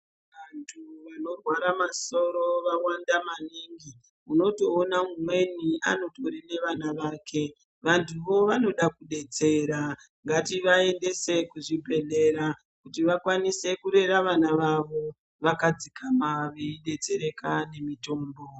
Antu anorwara masoro vawanda maningi unotoona umweni anotori nevana vake. Vantuvo vanoda kudetsera, ngativaendese kuzvibhedhlera kuti vakwanise kurera vana vavo vakadzikama veidetsereka nemitombo.